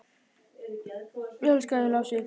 Ég elska þig, Lási.